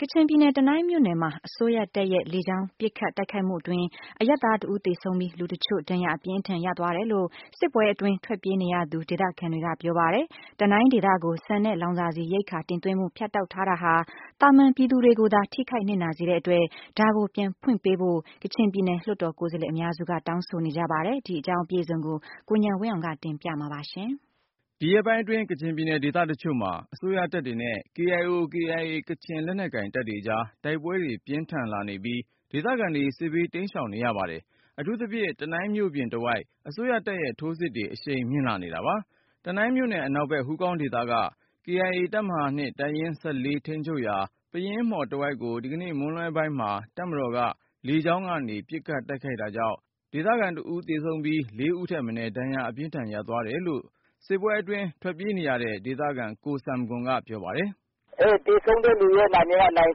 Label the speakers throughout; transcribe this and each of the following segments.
Speaker 1: ကချင်ပြည်နယ် တနိုင်းမြို့နယ်မှာ အစိုးရတပ်ရဲ့လေကြောင်းပစ်ခတ် တိုက်ခိုက်မှုအတွင်း အရပ်သား ဦးသေဆုံးပြီး လူတချို့ ဒဏ်ရာ အပြင်းအထန် ရသွားတယ်လို့ စစ်ပွဲအတွင်း ထွက်ပြေးနေရသူ ဒေသခံတွေက ပြောပါတယ်။ တနိုင်းဒေသကို ဆန်နဲ့လောင်စာဆီ ရိက္ခာ တင်သွင်းမှု ဖြတ်တောက်ထားတာဟာ သာမန်ပြည်သူတွေကိုသာ ထိခိုက်နစ်နာစေတဲ့အတွက် ဒါကို ပြန်ဖွင့်ပေးဖို့ ကချင်ပြည်နယ် လွှတ်တော် ကိုယ်စားလှယ်အများစုက တောင်းဆိုနေကြပါတယ်။ ဒီအကြောင်း ကိုဉာဏ်ဝင်းအောင်က တင်ပြမှာပါ။ ဒီရက်ပိုင်းအတွင်း ကချင်ပြည်နယ် ဒေသတချို့မှာ အစိုးရတပ်တွေနဲ့ KIO/KIA ကချင်လက်နက်ကိုင်တပ်တွေကြား တိုက်ပွဲတွေ ပြင်းထန်လာ နေပြီး ဒေသခံတွေ စစ်ဘေး တိမ်းရှောင်နေရပါတယ်။ အထူးသဖြင့် တနိုင်းမြို့ပြင်တဝိုက် အစိုးရတပ်ရဲ့ ထိုးစစ်တွေ အရှိန်မြင့်လာနေတာပါ။ တနိုင်းမြို့နယ် အနောက်ဘက် ဟူးကောင်းဒေသက KIA တပ်မဟ တပ်ရင်း ထိန်းချုပ်ရာ ပယင်းမှော်တဝိုက်ကို ဒီကနေ့ မွန်းလွဲပိုင်းမှာ တပ်မတော်က လေကြောင်းကနေ ပစ်ခတ်တိုက်ခိုက်တာကြောင့် ဦးသေဆုံးပြီး ဦးထက်မနည်း ဒဏ်ရာအပြင်းအထန် ရသွားတယ်လို့ စစ်ပွဲအတွင်း ထွက်ပြေးနေရတဲ့ ဒေသခံ ကိုဆမ်ဂွန်က ပြောပါတယ်
Speaker 2: ။ “ သေဆုံးသူ နာမည်က နိုင်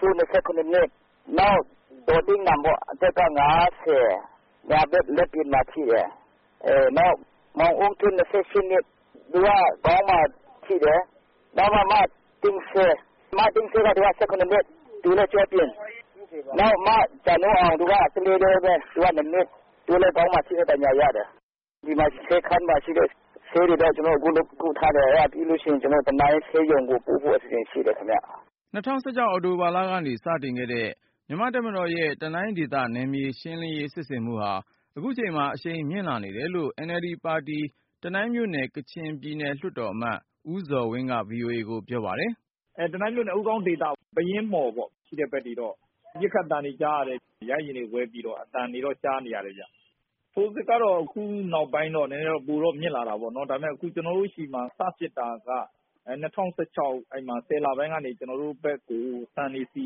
Speaker 2: စိုး ၊ နောက် ဒေါ်တူးနမ်ပေါ့ အသက်က ညာဘက် လက်ပြင်မှာထိတယ်။ နောက် မောင်အုန်းထွေး သူကခေါင်းမှာထိတယ်။ နောက် မသိန်းဌေး သူကကျောပြင်၊ နောက် မဂျာနိုးအောင် သူက နှစ် သူလည်း ခေါင်းမှာ ထိခိုက်ဒဏ်ရာရတယ်။ ဒီမှာဆေးခန်းမှာရှိတဲ့ ဆေးတွေနဲ့ လောလောဆယ် ကုထားတယ်။ အဲဒါပြီးရင် ကျနော်တို့ တနိုင်းဆေးရုံကို ပို့ဖို့အစီအစဉ် ရှိတယ်ခင်ဗျ။
Speaker 1: ” ၂၀၁၆ အောက်တိုဘာလကနေ စတင်ခဲ့တဲ့ တပ်မတော်ရဲ့ နယ်မြေရှင်းလင်းရေး စစ်ဆင်မှုဟာ ခုချိန်မှာ အရှိန်မြင့်လာနေတယ်လို့ NLD ပါတီ တနိုင်းမြို့နယ် ကချင်ပြည်နယ်လွှတ်တော်အမတ် ဦးဇော်ဝင်းက VOA ကိုပြောပါတယ်
Speaker 3: ။ “တနိုင်းမြို့နယ် ဟူးကောင်းဒေသဘက်ရှိတဲ့ ပယင်းမှော်တွေ ရှိတဲ့ဘက်တွေမှာ ပစ်ခတ်သံတွေကြားရတယ်၊ ရဟတ်ယာဉ်တွေ ဝဲပြီးတော့ အသံတွေ ကြားနေရတယ်။ ထိုးစစ်က ခုနောက်ပိုင်း နည်းနည်း ပိုများလာတာပေါ့။ ဒါပေမယ့် ကျနော်တို့ဆီမှာ စဖြစ်တာက ၂၀၁၆ -၁၀ လပိုင်း ကနေ ကျနော်တို့ဒေသဘက်ကို ဆန်တွေ လောင်စာဆီ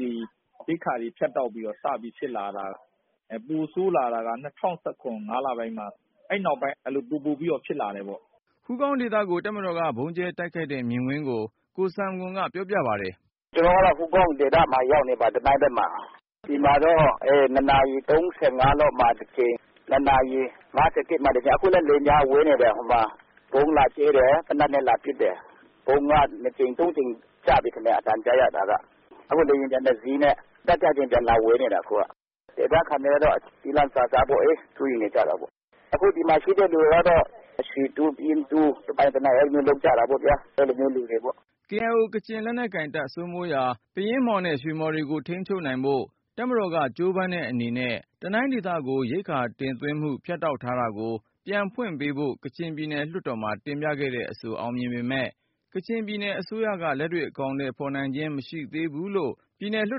Speaker 3: တွေ ရိက္ခာတွေဖြတ်တောက်ပြီးတော့ စစ် စပြီးဖြစ်လာတာ၊ ပိုဆိုးလာတာက ၂၀၁၇ ၅ လပိုင်းနောက်ပိုင်း ပိုပိုပြီးဖြစ်လာတာပေါ့
Speaker 1: ။” ဟူးကောင်းဒေသကို တပ်မတော်က ဗုံးကြဲတိုက်ခိုက်တဲ့ မြင်ကွင်းကို ကိုဆမ်ဂွန်က ပြောပြပါတယ်
Speaker 3: ။ “ ကျနော်က ဟူးကောင်းဒေသမှာ
Speaker 2: ရောက်နေပါတယ်၊ တနိုင်းဘက်မှာ။ ဒီမှာ ၂နာရီ ၃၅ လောက်မှာတကြိမ် ၊ ၂နာရီ ၅၁ မှာတကြိမ်။ ခုလည်း လေယာဉ်က ဝဲနေတယ် ဟိုမှာ။ ဗုံးလာကြဲတယ် သေနပ်နဲ့လာပစ်တယ်။ ဗုံးက ၂ကြိမ် ၃ကြိမ်ကျပြီထင်တယ် အသံကြားရတာက။ အခု လေယာဉ်ပျံတစီးနဲ့ ကပ်ကပ်လေး လာပျံဝဲနေတယ် ခုက။ ဒေသခံတွေက ကျီးလန့်စာစား စိုးရိမ်နေကြတာပေါ့။ အခုဒီမှာရှိတဲ့ လူတွေကတော့ ရွှေတူး ပယင်းတူး တပိုင်တနိုင် လာလုပ်ကြတာပေါ့ဗျာ အဲလိုမျိုးလူတွေပေါ့
Speaker 1: ။ ” KIO ကချင်လက်နက်ကိုင်တပ် စိုးမိုးရာ ပယင်းမှော်နဲ့ ရွှေမှော်တွေကိုထိန်းချုပ်ဖို့ တပ်မတော်က ကြိုးပမ်းတဲ့အနေနဲ့ တနိုင်းဒေသကို ရိက္ခာ တင်သွင်းမှု ဖြတ်တောက်ထားတာကို ပြန်ဖွင့်ပေးဖို့ ကချင်ပြည်နယ်လွှတ်တော်မှာ တင်ပြခဲ့တဲ့အဆို အောင်မြင်ပေမယ့် ကချင်ပြည်နယ် အစိုးရက လက်တွေ့အကောင်ထည်ဖေါ်ခြင်း မရှိသေးဘူးလို့ ပြည်နယ်လွှ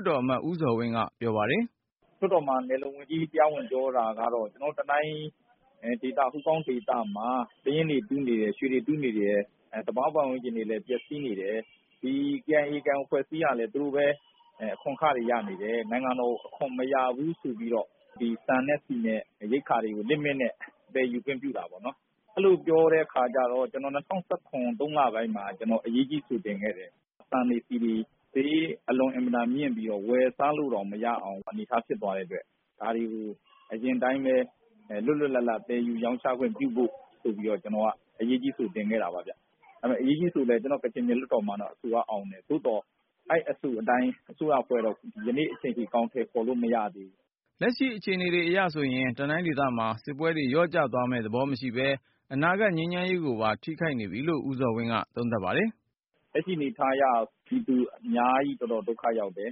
Speaker 1: တ်တော်အမတ် ဦးဇော်ဝင်းက ပြောပါတယ်။
Speaker 3: “ လွှတ်တော်မှာ နယ်လုံဝန်ကြီး တရားဝင်ပြောတာကတော့ ကျနော်တို့ တနိုင်းဒေသ ဟူးကောင်းဒေသမှာ ပယင်းတွေ တူးနေတယ်၊ ရွှေတွေ တူးနေတာဟာ သဘာဝပတ်ဝန်းကျင်တွေ ပျက်စီးနေတယ်။ ဒီ KIO/KIA အဖွဲ့အစည်းကလည်း သူပဲ အခွန်အခတွေ ရနေတယ်။ နိုင်ငံတော်က အခွန်အခတွေ မရဘူးဆိုပြီးတော့ ဒီဆန်နဲ့ဆီနဲ့ ရိက္ခာတွေကို Limit နဲ့ပဲ ယူခွင့်ပြုတာပေါ့နော်။ အဲလိုပြောတဲ့ အခါကျတော့ ၂၀၁၇ ၃-လပိုင်းမှာ ကျနော် အရေးကြီးအဆို တင်ခဲ့တယ်။ ဆန်တွေ ဆီတွေ ဈေးအလွန်အင်မတန် မြင့်ပြီးတော့ ဝယ်စားလို့တောင် မရအောင် အနေအထားမျိုး ဖြစ်သွားတဲ့အတွက် ဒါတွေကို အရင်အတိုင်းပဲ လွတ်လွတ်လပ်လပ် သယ်ယူရောင်းချခွင့်ပြုဖို့ ဆိုပြီးတော့ - အရေးကြီးအဆိုကို ကျနော် တင်ခဲ့တာပါ။ အဲဒီ အရေးအကြီးအဆိုဟာ ကချင်ပြည်နယ်လွှတ်တော်မှာ အောင်တယ်။ သို့သော် အဲဒီအဆိုအတိုင်း အစိုးရအဖွဲ့က ကနေ့အချိန်ထိ အကောင်ထည်ဖေါ်လို့ မရသေးဘူ
Speaker 1: း။ ” လက်ရှိအခြေအနေတွေ အရဆိုရင် တနိုင်းဒေသမှာ စစ်ပွဲတွေ လျော့ကျသွားမယ့်သဘော မရှိပဲ၊ အနာဂတ် ငြိမ်းချမ်းရေးကိုပါ ထိခိုက်နေပြီလို့ ဦးဇော်ဝင်းက သုံးသပ်ပါတယ်။
Speaker 3: “ လက်ရှိအနေအထားအရ ပြည်သူအများကြီး တော်တော် ဒုက္ခရောက်ပါတယ်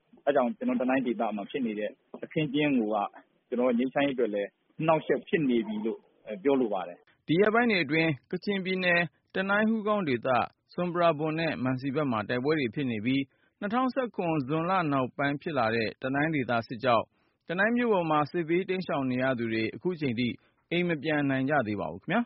Speaker 3: ။ အဲဒါကြောင့် ကျနော်တို့ တနိုင်းဒေသမှာဖြစ်နေတဲ့ အခင်းအကျင်းကိုက ငြိမ်းချမ်းရေးအတွက်လည်း အနှောင့်အယှက် ဖြစ်နေပြီလို့ ပြောလိုပါတယ်။
Speaker 1: ” ဒီရက်ပိုင်းတွေအတွင်း ကချင်ပြည်နယ် တနိုင်း ဟူးကောင်းဒေသ ၊ ဆွမ်ပရာဘွမ်နဲ့ မံစီဘက်မှာ တိုက်ပွဲတွေ ဖြစ်နေပြီး ၊ ၂၀၁၇ ဇွန်လ နောက်ပိုင်းဖြစ်လာတဲ့ တနိုင်းဒေသစစ်ကြောင့် တနိုင်းမြို့ပေါ်မှာ စစ်ဘေးရှောင်နေကြသူတွေ ခုချိန်ထိ အိမ်မပြန်နိုင်ကြသေးပါဘူးခင်ဗျာ